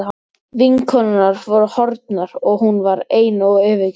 Vinkonurnar voru horfnar og hún var ein og yfirgefin.